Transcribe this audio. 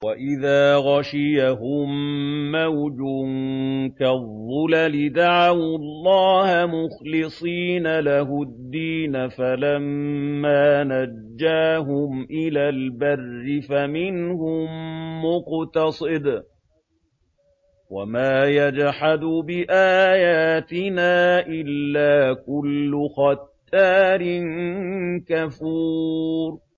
وَإِذَا غَشِيَهُم مَّوْجٌ كَالظُّلَلِ دَعَوُا اللَّهَ مُخْلِصِينَ لَهُ الدِّينَ فَلَمَّا نَجَّاهُمْ إِلَى الْبَرِّ فَمِنْهُم مُّقْتَصِدٌ ۚ وَمَا يَجْحَدُ بِآيَاتِنَا إِلَّا كُلُّ خَتَّارٍ كَفُورٍ